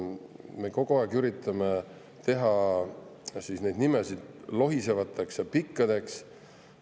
Me kogu aeg üritame teha nimesid lohisevateks ja pikkadeks.